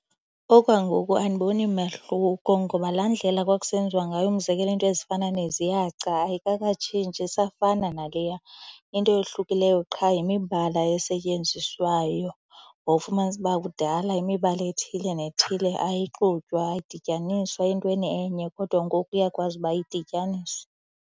Okwangoku andiboni mahluko ngoba laa ndlela kwakusenziwa ngayo umzekelo iinto ezifana neziyaca ayikakatshintshi, isafana naleya. Into eyohlukileyo qha yimibala esetyenziswayo. Wawufumanisa uba kudala imibala ethile nethile ayixutywa, ayidityaniswa entweni enye kodwa ngoku iyakwazi uba idityaniswe.